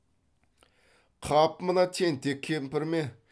қап мына тентек кемпір ме